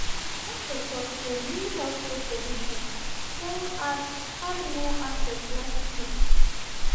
di doktor tok say new healthcare provision don add add more access last week.